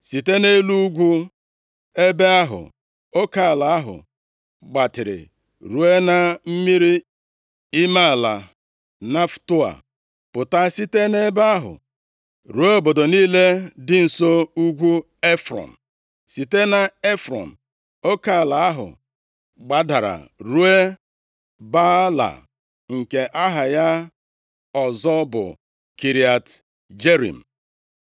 Site nʼelu ugwu ebe ahụ, oke ala ahụ gbatịrị ruo na mmiri ime ala Neftoa, pụta site nʼebe ahụ ruo obodo niile dị nso ugwu Efrọn. Site nʼEfrọn, oke ala ahụ gbadara ruo Baala (nke aha ya ọzọ bụ Kiriat Jearim).